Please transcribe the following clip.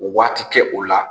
Waati kɛ o la